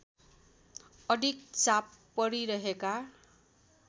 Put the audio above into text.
अधिक चाप परिरहेका